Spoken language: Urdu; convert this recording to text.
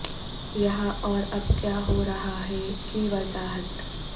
یہاں اور اب کیا ہو رہا ہے کی وضاحت